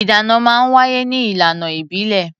Ìdáná máa ń wáyé ní ìlànà ìbílẹ̀.